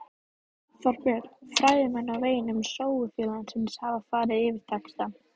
Þorbjörn: Fræðimenn á vegum Sögufélagsins hafa farið yfir textann?